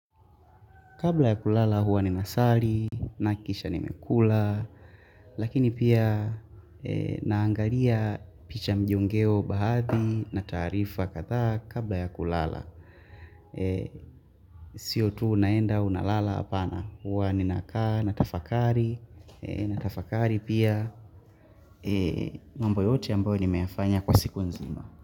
Kabla ya kulala huwa ni nasali na kisha nimekula Lakini pia naangalia picha mjongeo baadhi na tarifa kadha kabla ya kulala Sio tu unaenda unalala apana huwa ni nakaa na tafakari Natafakari pia mambo yote ambayo nimeyafanya kwa siku nzima.